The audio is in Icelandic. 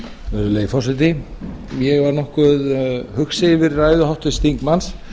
virðulegi forseti ég er nokkuð hugsi yfir ræðu háttvirts þingmanns